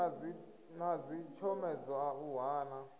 na dzitshomedzo a u hana